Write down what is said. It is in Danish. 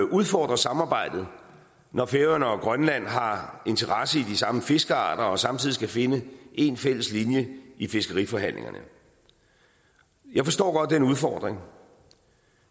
udfordre samarbejdet når færøerne og grønland har interesse i de samme fiskearter og de samtidig skal finde en fælles linje i fiskeriforhandlingerne jeg forstår godt den udfordring